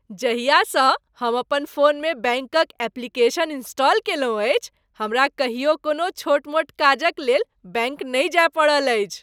जहियासँ हम अपन फोनमे बैंकक एप्लीकेशन इंस्टॉल कयलहुँ अछि, हमरा कहियो कोनो छोट मोट काजक लेल बैंक नहि जाय पड़ल अछि।